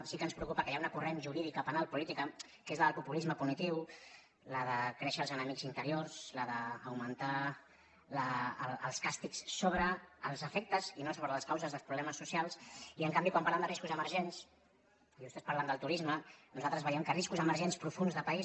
sí que ens preocupa que hi ha una corrent jurídica penal política que és la del populisme punitiu la de créixer els enemics interiors la d’augmentar els càstigs sobre els efectes i no sobre les causes dels problemes socials i en canvi quan parlem de riscos emergents i vostès parlen del turisme nosaltres veiem que riscos emergents profunds de país